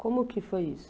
Como é que foi isso?